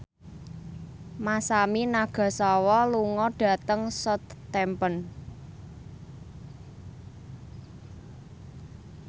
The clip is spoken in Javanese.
Masami Nagasawa lunga dhateng Southampton